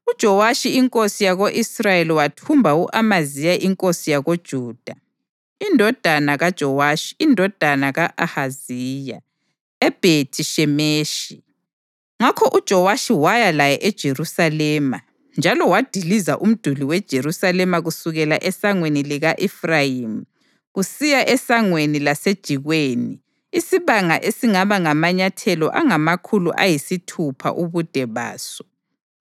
UJowashi inkosi yako-Israyeli wathumba u-Amaziya inkosi yakoJuda, indodana kaJowashi indodana ka-Ahaziya, eBhethi-Shemeshi. Ngakho uJowashi waya laye eJerusalema njalo wadiliza umduli weJerusalema kusukela eSangweni lika-Efrayimi kusiya eSangweni laseJikweni isibanga esingaba ngamanyathelo angamakhulu ayisithupha ubude baso.